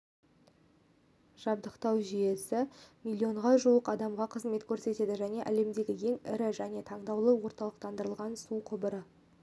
жабдықтау жүйесі миллионға жуық адамға қызмет көрсетеді және әлемдегі ең ірі және таңдаулы орталықтандырылғансу құбыры